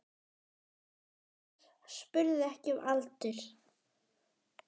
Bretar spurðu ekki um aldur.